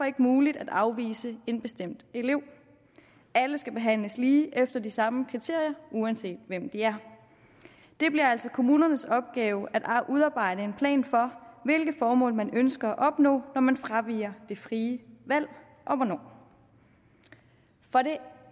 ikke muligt at afvise en bestemt elev alle skal behandles lige og efter de samme kriterier uanset hvem de er det bliver altså kommunernes opgave at udarbejde en plan for hvilke formål man ønsker at opnå når man fraviger det frie valg og hvornår for det